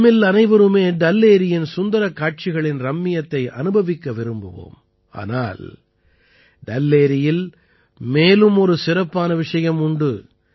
நம்மில் அனைவருமே டல் ஏரியின் சுந்தரக் காட்சிகளின் ரம்மியத்தை அனுபவிக்க விரும்புவோம் ஆனால் டல் ஏரியில் மேலும் ஒரு சிறப்பான விஷயம் உண்டு